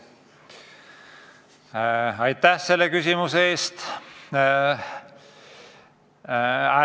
Aitäh selle küsimuse eest!